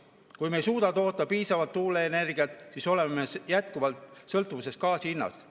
Kui me ei suuda toota piisavalt tuuleenergiat, siis oleme jätkuvalt sõltuvuses gaasi hinnast.